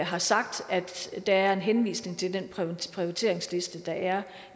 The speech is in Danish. har sagt at der er en henvisning til den prioriteringsliste der er